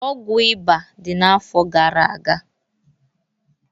Ọgwụ ịba dị n'afọ gara aga